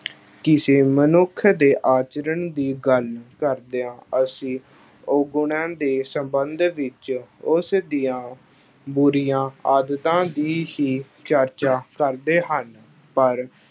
ਕਿਸੇ ਮਨੁੱਖ ਦੇ ਆਚਰਣ ਦੀ ਗੱਲ ਕਰਦਿਆਂ ਅਸੀਂ ਔਗੁਣਾਂ ਦੇ ਸਬੰਧ ਵਿੱਚ ਉਸ ਦੀਆਂ ਬੁਰੀਆਂ ਆਦਤਾਂ ਦੀ ਹੀ ਚਰਚਾ ਕਰਦੇ ਹਨ ਪਰ